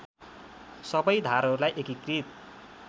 सबै धारहरूलाई एकीकृत